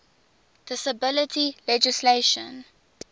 disability legislation